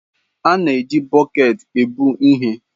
A na-eji bọket ebu ihe.